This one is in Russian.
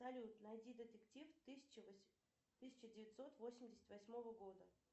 салют найди детектив тысяча девятьсот восемьдесят восьмого года